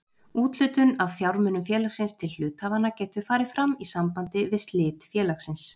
Úthlutun af fjármunum félagsins til hluthafanna getur farið fram í sambandi við slit félagsins.